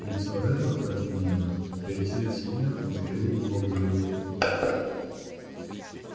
лицо реддла потемнело пересилив себя он скривил его в улыбку